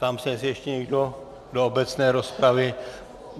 Ptám se, jestli ještě někdo do obecné rozpravy.